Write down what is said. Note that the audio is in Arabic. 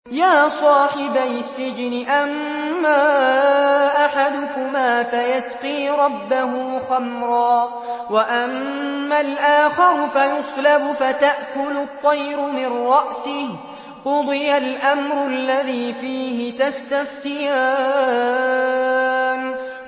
يَا صَاحِبَيِ السِّجْنِ أَمَّا أَحَدُكُمَا فَيَسْقِي رَبَّهُ خَمْرًا ۖ وَأَمَّا الْآخَرُ فَيُصْلَبُ فَتَأْكُلُ الطَّيْرُ مِن رَّأْسِهِ ۚ قُضِيَ الْأَمْرُ الَّذِي فِيهِ تَسْتَفْتِيَانِ